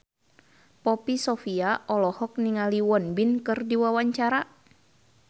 Poppy Sovia olohok ningali Won Bin keur diwawancara